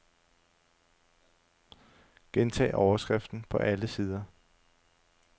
Gentag overskriften på alle sider.